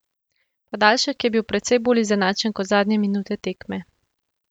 Podaljšek je bil precej bolj izenačen kot zadnje minute tekme.